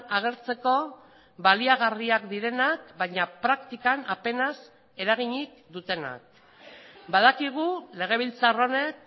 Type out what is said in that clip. agertzeko baliagarriak direnak baina praktikan apenas eraginik dutenak badakigu legebiltzar honek